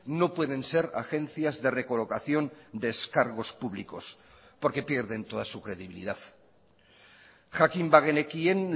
no pueden ser agencias de recolocación de ex cargos públicos porque pierden toda su credibilidad jakin bagenekien